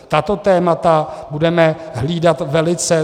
Tato témata budeme hlídat velice.